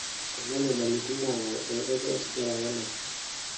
kuna inyamalitin naayau eokoto osigara wenaisho